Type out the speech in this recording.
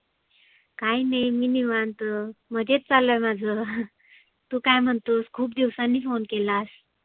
काही नाही मी निवांत, मजेत चाललय माझं. तु काय म्हणतोस खुप दिवसांनी phone केलास.